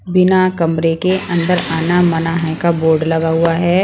बिना कमरे के अंदर आना मना हैं का बोर्ड लगा हुआ हैं ।